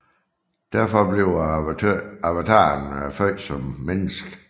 Derfor bliver avataren født som menneske